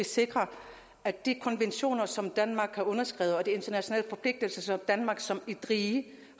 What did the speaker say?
sikrer at de konventioner som danmark har underskrevet og de internationale forpligtelser som danmark har som et rige